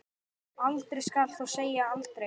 Aldrei skal þó segja aldrei.